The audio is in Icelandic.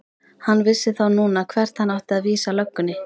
Hann vissi þá núna hvert hann átti að vísa löggunni!